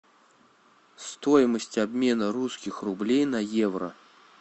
стоимость обмена русских рублей на евро